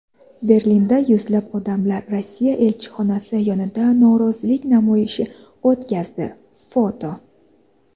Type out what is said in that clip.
Berlinda yuzlab odamlar Rossiya elchixonasi yonida norozilik namoyishi o‘tkazdi (foto).